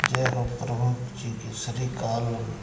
जय हो प्रभु श्री केशरी काल--